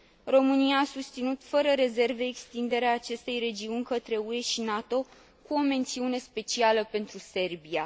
România a susținut fără rezerve extinderea acestei regiuni către UE și NATO, cu o mențiune specială pentru Serbia.